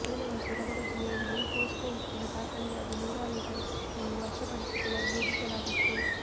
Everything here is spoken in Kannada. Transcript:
ಕಳೆದ ವರ್ಷ ಗದಗ ಜಿಲ್ಲೆಯಲ್ಲಿ ಪೋಸ್ಕೊ ಉಕ್ಕಿನ ಕಾರ್ಖಾನೆಗಾಗಿ ನೂರಾರು ಎಕರೆ ಕೃಷಿ ಭೂಮಿ ವಶಪಡಿಸಿಕೊಳ್ಳಲು ಯೋಜಿಸಲಾಗಿತ್ತು